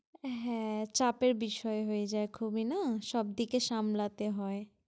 হ্যাঁ চাপের বিষয় হয়ে খুবি না, সবদিকে সামলাতে হয়।